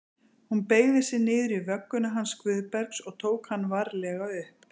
Hún beygði sig niður í vögguna hans Guðbergs og tók hann varlega upp.